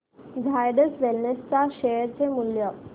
Zydus wellness च्या share चे मूल्य